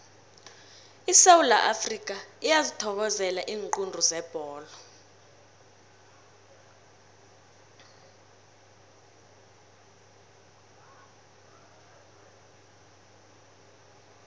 isewula afrikha iyazithokozela iinqundu zebholo